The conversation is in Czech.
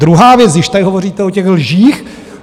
Druhá věc, když tady hovoříte o těch lžích.